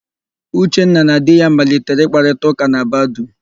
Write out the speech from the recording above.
Uchenna na di ya malitere ịkparịtaụ́kà na Badoo.